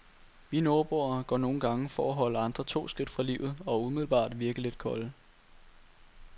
Vi nordboere går nogle gange for at holde andre to skridt fra livet og umiddelbart virke lidt kolde.